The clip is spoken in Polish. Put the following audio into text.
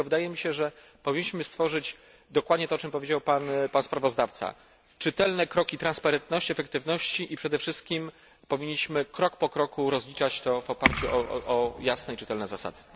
Dlatego wydaje mi się, że powinniśmy stworzyć dokładnie to, o czym powiedział pan sprawozdawca czytelne kroki transparentności, efektywności i przede wszystkim powinniśmy krok po kroku rozliczać je w oparciu o jasne i czytelne zasady.